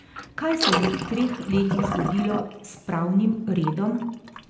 Kaj se je v treh letih zgodilo s pravnim redom?